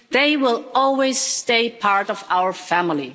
They will always stay part of our family.